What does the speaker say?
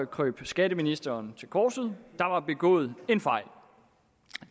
krøb skatteministeren til korset der var begået en fejl